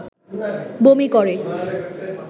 বমি করে